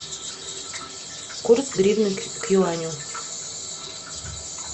курс гривны к юаню